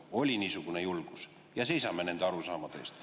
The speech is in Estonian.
Oli niisugune julgus ja me seisame nende arusaamade eest.